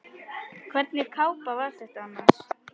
Hvernig kápa var þetta annars?